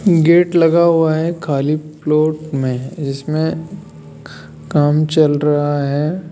Gate लगा हुआ है खाली प्लॉट में इसमें काम चल रहा है।